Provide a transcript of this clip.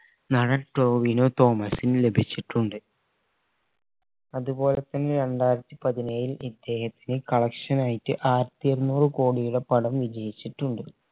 നടൻ ടോവിനോ തോമസിന് ലഭിച്ചിട്ടുണ്ട് അതുപോലെ തന്നെ രണ്ടായിരത്തി പതിനേഴിന് collection ആയിട്ട് ആയിരത്തി അറുന്നൂർ കോടിയുടെ പടം വിജയിച്ചിട്ടുണ്ട്